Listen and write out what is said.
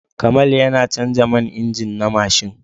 Kamal yana canza man injin na mashin.